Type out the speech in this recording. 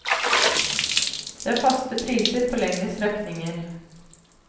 Det er faste priser på lengre strekninger.